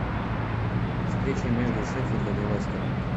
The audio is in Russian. встреча между шеффилдом и лестером